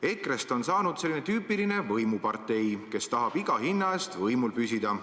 EKRE-st on saanud selline tüüpiline võimupartei, kes tahab iga hinna eest võimul püsida.